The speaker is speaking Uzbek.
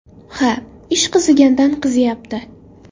Ha, ish qizigandan qiziyapti.